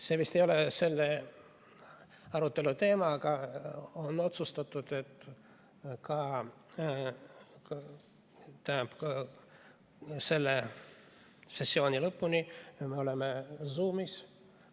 See vist ei ole selle arutelu teema, aga on otsustatud, et selle sessiooni lõpuni me oleme Zoomis.